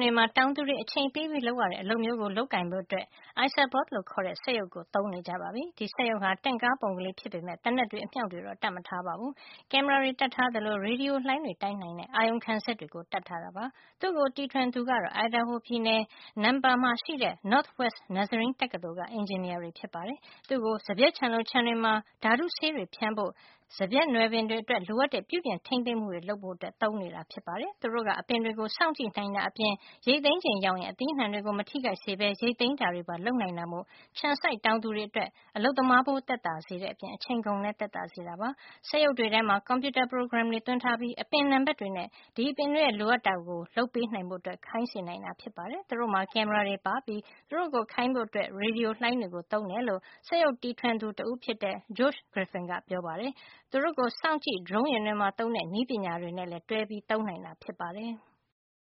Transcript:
တွေမှာ တောင်သူတွေ အချိန်ပေးလုပ်ရတဲ့ အလုပ်မျိုးကို လုပ်ကိုင်ဖို့ Isabot လို့ခေါ်တဲ့ စက်ရုပ်ကို သုံးနေကြပါပြီ။ ဒီစက်ရုပ်ဟာ တင့်ကားပုံ ကလေးဖြစ်ပေမယ့် သေနတ်တွေ အမြောက်တွေ တော့တပ်မထားပါဘူး။ ကင်မရာတွေ ရေဒီယိုလှိုင်းတွေ တိုင်းနိုင်တဲ့ အာရုံခံစက်တွေ တပ်ထားတာပါ။ သူ့ကို တီထွင်သူကတော့ Idaho ပြည်နယ် Nampa က Northwest Nazarene တက္ကသိုလ်က အင်ဂျင်နီယာတွေ ဖြစ်ပါတယ်။ သူ့ကို စပျစ်ခြံလို ခြံတွေမှာ ဓါတုဆေးတွေ ဖြန်းဖို့ စပျစ်နွယ်ပင်တွေအတွက် လိုအပ်တဲ့ ပြုပြင် ထိမ်းသိမ်းမှုတွေ လုပ်ဖို့ သုံးနေပါပြီ။ သူတို့က အပင်တွေ ကို စောင့်ကြည့်တာအပြင် ရိတ်သိမ်းချိန် ရောက်ရင် အသီးနှံတွေ ကို မထိခိုက်စေပဲ ရိတ်သိမ်းတာတွေပါလုပ်နိုင်တာမို့ ခြံစိုက် တောင်သူတွေအတွက် အလုပ်သမားဖိုး သက်သာစေတဲ့အပြင် အချိန်ကုန်လည်း သက်သာစေတာပါ။ စက်ရုပ်တွေထဲမှာ ကွန်ပြူတာ ပရိုဂရမ်တွေ သွင်းထားပြီး အပင် နံပါတ်တွေနဲ့ ဒီအပင်တွေ လိုအပ်တာကို လုပ်ပေးဖို့ ခိုင်းနိုင်တာပါ။ သူတို့မှာ ကင်မရာတွေ ပါပြီး သူတို့ကို ခိုင်းဖို့ ရေဒီယိုလှိုင်းတွေကို သုံးတယ်လို့ စက်ရုပ်တီထွင်သူ တဦးဖြစ်တဲ့ Josh Griffin ကပြောပါတယ်။ သူတို့ကို စောင့်ကြည့် ဒရုံးယာဉ်တွေမှာ သုံးတဲ့ နည်းပညာတွေနဲ့လည်း တွဲပြီး သုံးနိုင်တာ ဖြစ်ပါတယ်။